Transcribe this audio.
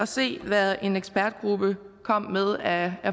se hvad en ekspertgruppe kunne komme med af